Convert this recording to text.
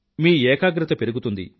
మీ ఏకాగ్రత పెరుగుతుంది